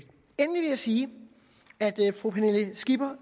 jeg sige at fru pernille skipper